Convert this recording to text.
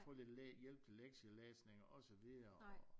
Og få lidt øh hjælp til lektielæsning og så videre